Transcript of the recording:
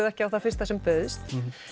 ekki á það fyrsta sem bauðst